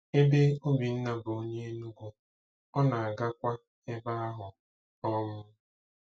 Ebe Obinna bụ onye Enugu, ọ na-agakwa ebe ahụ. um